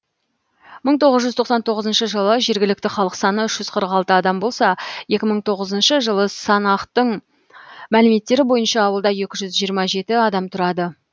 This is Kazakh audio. мың тоғыз жүз тоқсан тоғызыншы жылы жергілікті халық саны үш жүз қырық алты адам болса екі мың тоғызыншы жылғы санақтың мәліметтері бойынша ауылда екі жүз жиырма жеті адам тұрады